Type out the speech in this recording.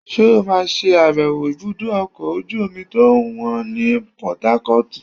ṣe o ma sé abèwo ibudọ ọkọ ojú-omi to wan ní portharcortú?